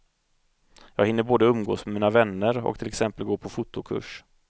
Jag hinner både umgås med mina vänner och till exempel gå på fotokurs.